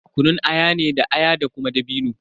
Ana kunun aya ne da aya da kuma dabino.